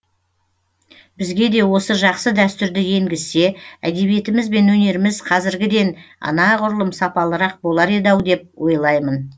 бізге де осы жақсы дәстүрді енгізсе әдебиетіміз бен өнеріміз қазіргіденанағұрлым сапалырақ болар еді ау деп ойлаймын